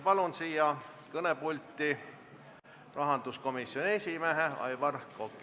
Palun siia kõnepulti rahanduskomisjoni esimehe Aivar Koka!